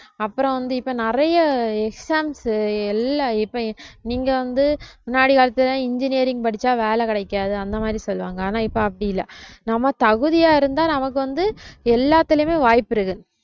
அப்புறம் வந்து இப்ப நிறைய exams எல்லா இப்பயும் நீங்க வந்து முன்னாடி காலத்துல எல்லாம் engineering படிச்சா வேலை கிடைக்காது அந்த மாதிரி சொல்லுவாங்க ஆனா இப்ப அப்படி இல்லை நம்ம தகுதியா இருந்தா நமக்கு வந்து எல்லாத்துலயுமே வாய்ப்பு இருக்கு